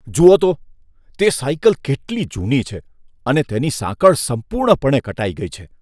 જુઓ તો, તે સાયકલ કેટલી જૂની છે અને તેની સાંકળ સંપૂર્ણપણે કટાઈ ગઈ છે.